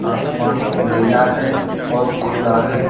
आसमान नीला है और खुला है।